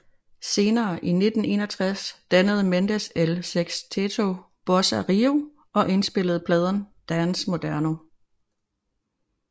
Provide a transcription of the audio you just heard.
Senere i 1961 dannede Mendes El Sexteto Bossa Rio og indspillede pladen Dance Moderno